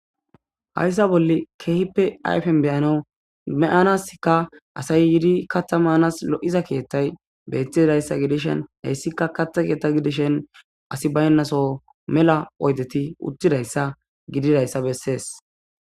hayssa bolle keehippe ayfen beyanawu me7anaskka asay yiidi katta maanas lo7iza keyattay bettidayssa gidishen hayssikka katta keetta gidishen asi baynnaso mela oydeti uttidayssa gididayssa bessees